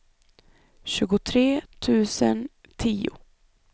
tjugotre tusen tio